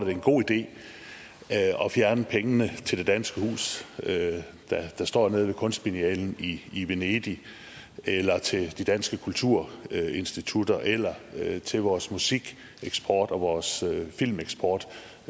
er en god idé at fjerne pengene til det danske hus der står nede ved kunstbiennalen i i venedig eller til de danske kulturinstitutter eller til vores musikeksport og vores filmeksport